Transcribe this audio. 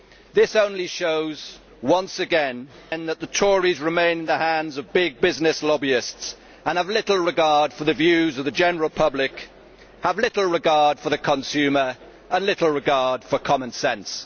This only shows once again that the Tories remain in the hands of big business lobbyists and have little regard for the views of the general public, little regard for the consumer and little regard for common sense.